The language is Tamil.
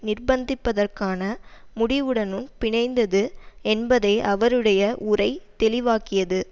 நிர்பந்திப்பதற்கான முடிவுடனும் பிணைந்தது என்பதை அவருடைய உரை தெளிவாக்கியது